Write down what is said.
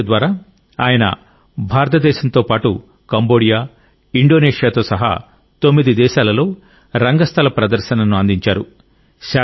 ఈ ప్రాజెక్ట్ ద్వారా ఆయన భారతదేశంతో పాటు కంబోడియా ఇండోనేషియాతో సహా తొమ్మిది దేశాలలో రంగస్థల ప్రదర్శనను అందించారు